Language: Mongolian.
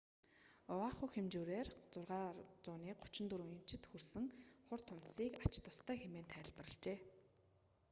оаху хэмжүүрээр 6,34 инчэд хүрсэн хур тунадасыг ач тустай хэмээн тайлбарлажээ